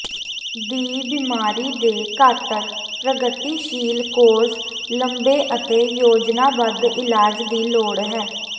ਦੀ ਬਿਮਾਰੀ ਦੇ ਘਾਤਕ ਪ੍ਰਗਤੀਸ਼ੀਲ ਕੋਰਸ ਲੰਬੇ ਅਤੇ ਯੋਜਨਾਬੱਧ ਇਲਾਜ ਦੀ ਲੋੜ ਹੈ